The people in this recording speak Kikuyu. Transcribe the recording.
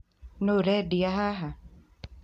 No ũredia haha